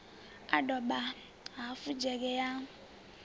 a doba hafu dzhege ya